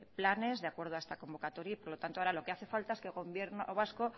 planes de acuerdo a esta convocatoria y por lo tanto ahora lo que hace falta es que gobierno vasco